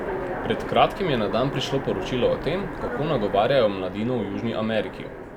Pred kratkim je na dan prišlo poročilo o tem, kako nagovarjajo mladino v Južni Ameriki.